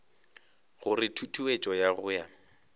gore tutuetšo ya go ya